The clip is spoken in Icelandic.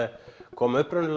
kom upprunalega